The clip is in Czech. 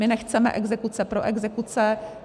My nechceme exekuce pro exekuce.